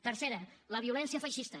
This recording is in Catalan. tercera la violència feixista